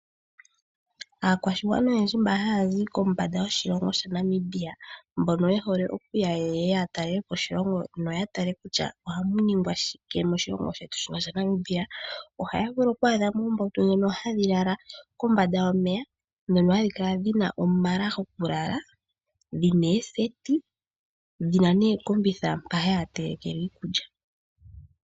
Aakwashigwana oyendji mba haya zi kombanda yoshilongo shaNamibia mbono ye hole yeye ya talele po oshilongo noya tale kutya ohamu ningwa shike moshilongo shetu shaNamibia ohaya vulu oku adhamo oombautu ndhono hadhi lala kombanda yomeya ndhono hadhi kala ndhina omala goku lala, dhina ooseti, dhina nookombitha mapa haya teleke le iikulya.